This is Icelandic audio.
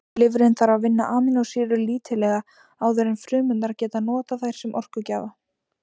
Lifrin þarf að vinna amínósýrur lítillega áður en frumurnar geta notað þær sem orkugjafa.